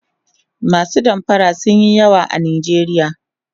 masu damfara sunyi yawa a nijeriya